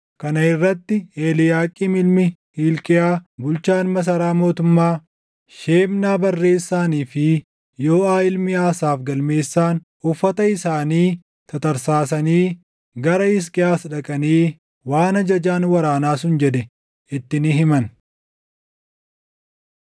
Kana irratti Eliiyaaqiim ilmi Hilqiyaa bulchaan masaraa mootummaa, Shebnaa barreessaanii fi Yooʼaa ilmi Asaaf galmeessaan, uffata isaanii tatarsaasanii gara Hisqiyaas dhaqanii waan ajajaan waraanaa sun jedhe itti ni himan.